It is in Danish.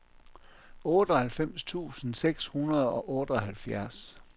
otteoghalvfems tusind seks hundrede og otteoghalvfjerds